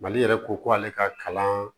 Mali yɛrɛ ko k'ale ka kalan